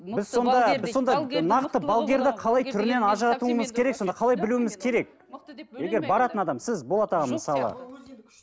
сіз болат аға мысалы